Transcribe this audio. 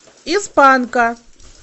из панка